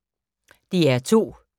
DR2